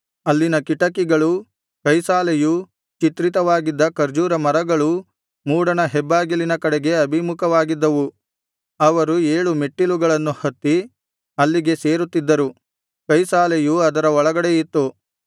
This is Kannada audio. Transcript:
ಅಲ್ಲಿನ ಕಿಟಕಿಗಳೂ ಕೈಸಾಲೆಯೂ ಚಿತ್ರಿತವಾಗಿದ್ದ ಖರ್ಜೂರ ಮರಗಳೂ ಮೂಡಣ ಹೆಬ್ಬಾಗಿಲಿನ ಕಡೆಗೆ ಅಭಿಮುಖವಾಗಿದ್ದವು ಅವರು ಏಳು ಮೆಟ್ಟಿಲುಗಳನ್ನು ಹತ್ತಿ ಅಲ್ಲಿಗೆ ಸೇರುತ್ತಿದ್ದರು ಕೈಸಾಲೆಯು ಅದರ ಒಳಗಡೆಯಿತ್ತು